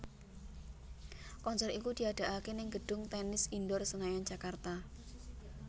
Konser iku diadakaké ning gedung Tennis Indoor Senayan Jakarta